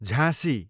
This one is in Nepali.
झाँसी